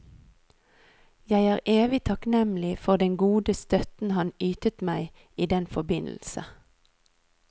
Jeg er evig takknemlig for den gode støtten han ytet meg i den forbindelse.